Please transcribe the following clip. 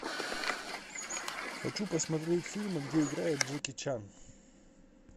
хочу посмотреть фильмы где играет джеки чан